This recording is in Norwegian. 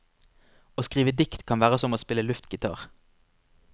Å skrive dikt kan være som å spille luftgitar.